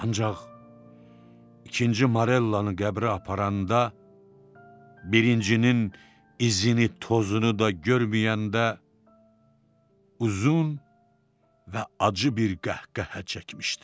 Ancaq ikinci Morellanı qəbrə aparanda, birincinin izini, tozunu da görməyəndə uzun və acı bir qəhqəhə çəkmişdim.